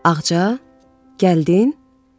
Ağca, gəldin?